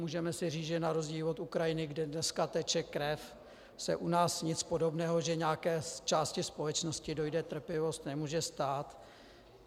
Můžeme si říct, že na rozdíl od Ukrajiny, kde dneska teče krev, se u nás nic podobného, že nějaké části společnosti dojde trpělivost, nemůže stát.